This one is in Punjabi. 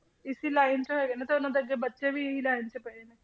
ਇਸੀ line 'ਚ ਹੈਗੇ ਨੇ ਤੇ ਉਹਨਾਂ ਦੇ ਅੱਗੇ ਬੱਚੇ ਵੀ ਇਹੀ line 'ਚ ਪਏ ਨੇ।